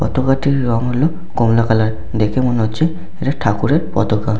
পতাকাটির রং হলো কমলা কালার । দেখে মনে হচ্ছে এটা ঠাকুরের পতাকা ।